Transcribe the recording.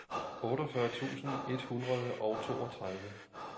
otteogfyrre tusind et hundrede og toogtredive